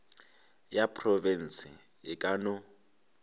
ya profense e ka no